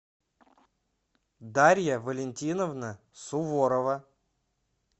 дарья валентиновна суворова